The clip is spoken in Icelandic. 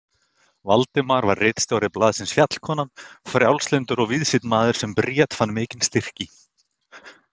Valdimar var ritstjóri blaðsins Fjallkonan, frjálslyndur og víðsýnn maður sem Bríet fann mikinn styrk í.